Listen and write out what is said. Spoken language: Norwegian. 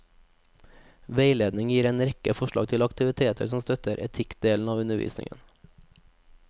Veiledningen gir en rekke forslag til aktiviteter som støtter etikkdelen av undervisningen.